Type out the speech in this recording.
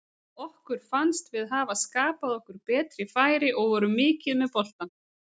Okkur fannst við hafa skapað okkur betri færi og vorum mikið með boltann.